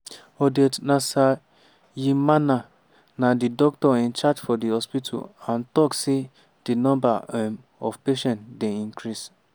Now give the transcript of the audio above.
odette nsavyimana na di doctor in charge for di hospital and tok say di number um of patients dey increase.